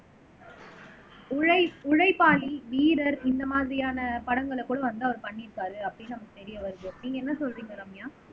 உழை உழைப்பாளி வீரர் இந்த மாதிரியான படங்களை கூட வந்து அவர் பண்ணியிருக்காரு அப்படின்னு நமக்கு தெரிய வருது நீங்க என்ன சொல்றீங்க ரம்யா